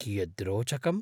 कियद् रोचकम्!